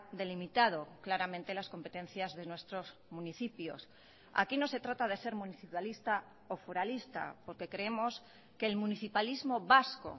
delimitado claramente las competencias de nuestros municipios aquí no se trata de ser municipalista o foralista porque creemos que el municipalismo vasco